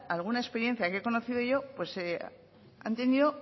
alguna experiencia que he conocido yo han tenido